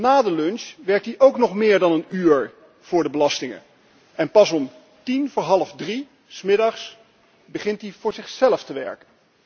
Na de lunch werkt hij ook nog meer dan een uur voor de belastingen en pas om tien voor half drie 's middags begint hij voor zichzelf te werken.